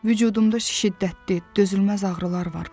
Vücudumda şiddətli, dözülməz ağrılar var.